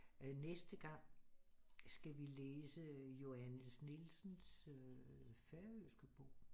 Næste gang skal vi læse Jóane Nielsens færøske bog